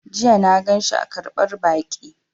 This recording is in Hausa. Jiya na ganshi a ƙarɓar baƙi